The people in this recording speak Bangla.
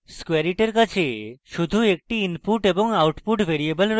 squareit our কাছে শুধু একটি input এবং output ভ্যারিয়েবল রয়েছে